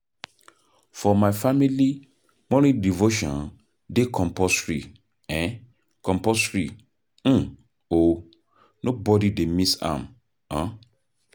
For my family, morning devotion dey compulsory o, nobody dey miss am.